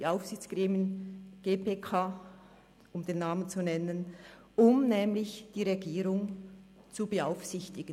Die Aufsichtsgremien, die GPK, um den Namen zu nennen, ist dazu da, um die Regierung zu beaufsichtigen.